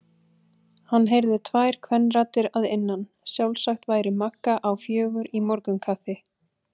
Hann heyrði tvær kvenraddir að innan, sjálfsagt væri Magga á fjögur í morgunkaffi.